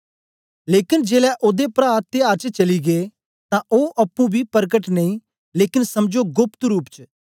लेकन जेलै ओदे प्रा त्याहर च चली गै तां ओ अप्पुं बी परकट नेई लेकन समझो गोप्त रूप च